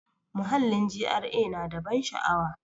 Muhallin GRA na da ban sha'awa.